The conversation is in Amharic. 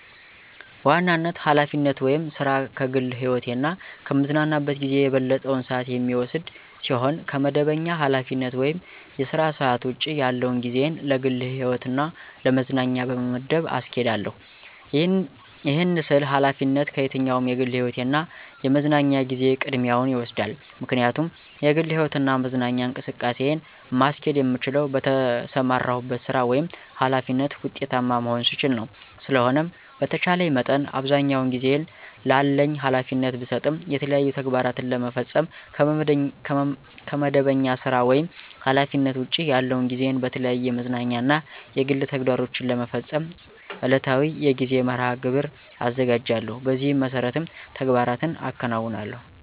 በዋናነት ኃላፊነት ወይም ሥራ ከግል ህይወቴ እና ከምዝናናበት ጊዜ የበለጠውን ሰአት የሚወስድ ሲሆን ከመደበኛ ኃላፊነት ወይም የሥራ ሰዓት ውጭ ያለውን ጊዜየን ለግል ህይወትና ለመዝናኛ በመመደብ አስኬዳለሁ። ይህን ስል ኃላፊነት ከየትኛውም የግል ህይወቴ እና የመዝናኛ ጊዜየ ቅድሚያውን ይወስዳል። ምክንያቱም የግል ህይወትና መዝናኛ እንቅስቃሴን ማስኬድ የምችለው በተሰማራሁበት ሥራ ወይም ኃላፊነት ውጤታማ መሆን ስችል ነው። ስለሆነም በተቻለኝ መጠን አብዛኛውን ጊዜየን ላለኝ ኃላፊነት ብሰጥም የተለያዩ ተግባራትን ለመፈፀም ከመደበኛ ሥራ ወይም ኃላፊነት ውጭ ያለውን ጊዜየን በተለያዩ የመዝናኛ እና የግል ተግባሮቸን ለመፈፀም ዕለታዊ የጊዜ መርሐ-ግብር አዘጋጃለሁ። በዚህ መሠረትም ተግባራትን አከናውናለሁ።